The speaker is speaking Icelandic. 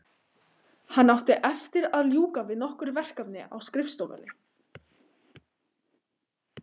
Hann átti eftir að ljúka við nokkur verkefni á skrifstofunni.